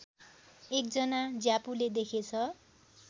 एकजना ज्यापूले देखेछ